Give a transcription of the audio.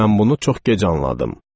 Mən bunu çox gec anladım.